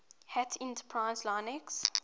hat enterprise linux